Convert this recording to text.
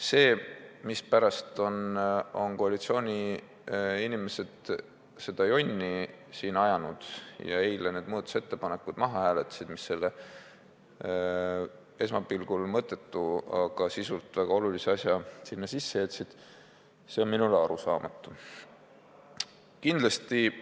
See aga, mispärast on koalitsiooni esindajad jonni ajanud ja eile need muudatusettepanekud maha hääletasid, jättes selle esmapilgul mõttetu, aga sisult väga olulise muudatuse sinna sisse, on minule arusaamatu.